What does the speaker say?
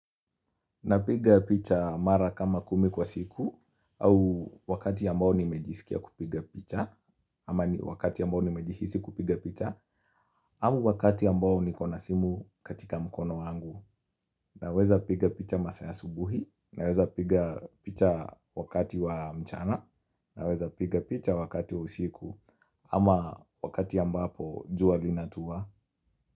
Napiga picha mara kama kumi kwa siku au wakati ya mbao nimejisikia kupiga picha ama wakati ya mbao nimejisi kupiga picha au wakati ya mbao niko na simu katika mkono wangu Naweza piga picha masaa ya asubuhi naweza piga picha wakati wa mchana Naweza piga picha wakati wa siku ama wakati ambapo jua linatuwa.